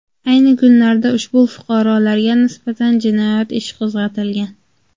Ayni kunlarda ushbu fuqarolarga nisbatan jinoyat ishi qo‘zg‘atilgan.